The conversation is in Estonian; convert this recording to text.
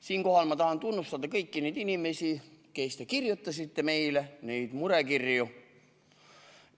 Siinkohal ma tahan tunnustada kõiki neid inimesi, kes te kirjutasite meile neid murekirju.